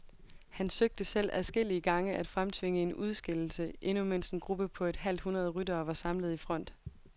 Han søgte selv adskillige gange at fremtvinge en udskillelse, endnu mens en gruppe på et halvt hundrede ryttere var samlet i front.